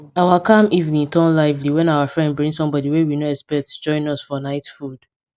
our calm evening turn lively when our friend bring somebody wey we no expect to join us for night food